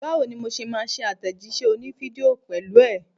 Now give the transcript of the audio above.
Báwo ni mo ṣe máa ṣe àtẹ̀jíṣẹ́ òní fídíò pẹ̀lú ẹ?